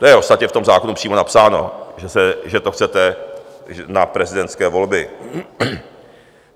To je ostatně v tom zákonu přímo napsáno, že to chcete na prezidentské volby.